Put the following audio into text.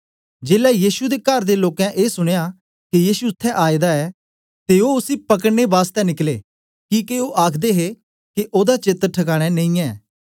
जेलै यीशु दे कार दे लोकें ए सुनया के यीशु इत्त्थैं आएदा ऐ ते ओ उसी पकड़ने बासतै निकले किके ओ आखदे हे के ओदा चेत ठकाने नेई ऐ